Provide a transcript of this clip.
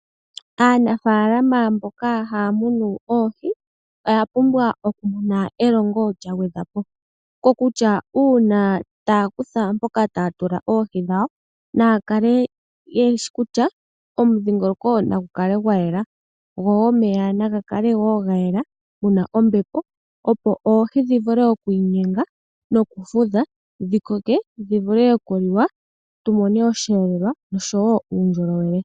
Aanafaalama mboka haya munu oohi, oya pumbwa oku pewa elongo lya gwedhwa po. Uuna taya hogolola mpoka ta ya munine oohi dhawo naya tale ngaa kutya omudhingoloko ogwa yela osho wo omeya na ga kale ga yela, opo oohi dhi vule oku inyenga nokufudha opo dhi koke , yo aantu ya mone osheelelwa osho wo uundjolowele.